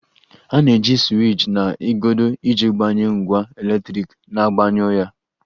A na-eji siwiich na igodo iji gbanye ngwa eletriki na gbanyụọ ya